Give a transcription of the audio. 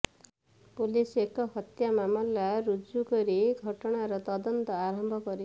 police ଏକ ହତ୍ୟା ମାମଲା ରୁଜୁ କରି ଘଟଣାର ତଦନ୍ତ ଆରମ୍ଭ କରିଛି